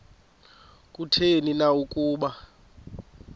kutheni na ukuba